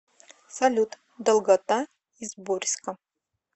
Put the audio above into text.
салют долгота изборьско